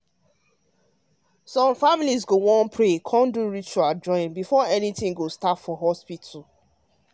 i mean say some families go wan pray or do ritual before anything start for hospital.